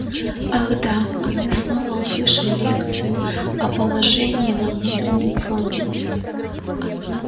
ах да и мы снова услышим лекцию о положении на внутреннем фронте